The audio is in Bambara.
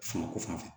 Fanga ko fan fɛ